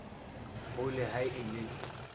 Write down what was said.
ho le ha e le